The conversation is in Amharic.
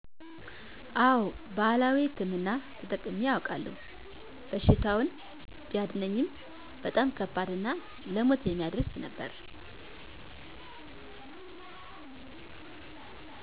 አወ ባህላዊ ህክምና ተጠቅሜ አውቃለሁ፤ በሽታውን ቢያድነኝም በጣም ከባድ እና ለሞት የሚያደርስ ነበር።